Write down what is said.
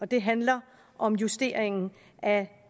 det handler om justeringen af